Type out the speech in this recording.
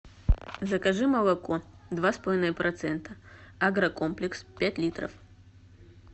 закажи молоко два с половиной процента агрокомплекс пять литров